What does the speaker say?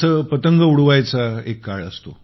जसे पतंग उडवायचा पण एक काळ असतो